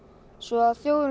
svo þjófurinn